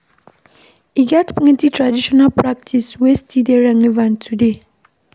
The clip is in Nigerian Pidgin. E get plenty traditional practice wey still dey relevant today.